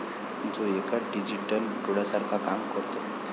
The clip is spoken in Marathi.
जो एका डिजिटल डोळ्यासारखं काम करतो.